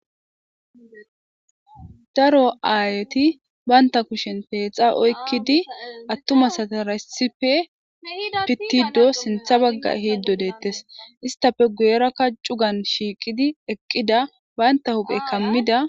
daro aayeti baynta kushen peexa oykkidi attumas ataresife pittido sintha bagga hiiddo deettes istafe guyerakka cugan shiiqidi eqqida baynta huphe kammida